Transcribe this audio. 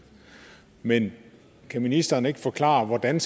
men kan ministeren ikke forklare hvordan